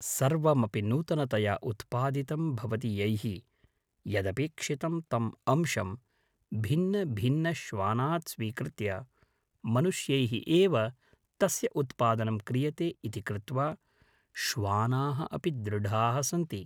सर्वमपि नूतनतया उत्पादितं भवति यैः यदपेक्षितं तम् अंशं भिन्नभिन्नश्वानात् स्वीकृत्य मनुष्यैः एव तस्य उत्पादनं क्रियते इति कृत्वा श्वानाः अपि दृढाः सन्ति